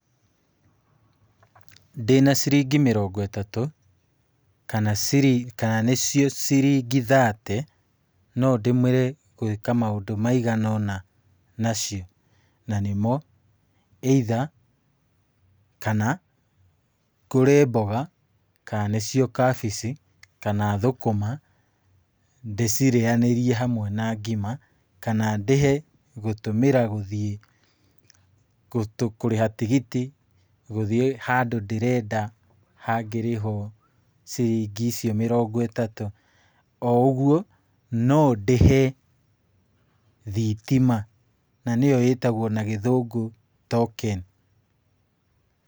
Ndĩna ciringi mĩrongo ĩtatũ kana ciri kana nĩcio ciringi thate, no ndũmĩre gwĩka maũndũ maigana ũna nacio, na nĩmo either, kana ngũre mboga kana nĩcio kabici, kana thũkũma ndĩcirĩanĩrie hamwe na ngima, kana ndĩhe gũtũmĩra gũthiĩ kũrĩha tigiti gũthiĩ handũ ndĩrenda hangĩrĩhwo ciringi icio mĩrongo ĩtatũ, oũguo no ndĩhe thitima na nĩyo ĩtagwo na gĩthũngũ token.